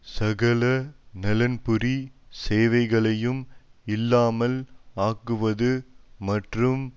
சகல நலன்புரி சேவைகளையும் இல்லாமல் ஆக்குவது மற்றும்